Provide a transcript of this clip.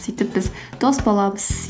сөйтіп біз дос боламыз